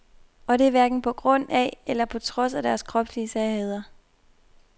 Og det er hverken på grund af eller på trods af deres kropslige særheder.